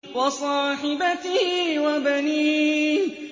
وَصَاحِبَتِهِ وَبَنِيهِ